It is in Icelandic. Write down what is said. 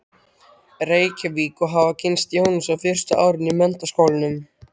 Reykjavík og hafa kynnst Jónasi á fyrsta árinu í Menntaskólanum.